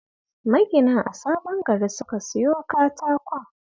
Maginan a Sabon Gari suka siyo katakon